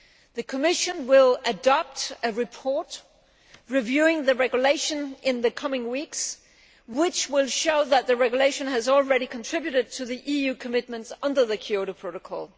The Commission will adopt a report reviewing the Regulation in the coming weeks, which will show that the Regulation has already contributed to the EU commitments under the Kyoto Protocol.